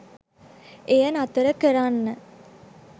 එය නතර කරන්න